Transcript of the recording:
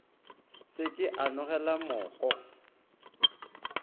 se ke a nolega moko